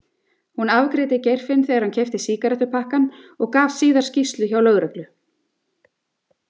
Hún afgreiddi Geirfinn þegar hann keypti sígarettupakkann og gaf síðar skýrslu hjá lögreglu.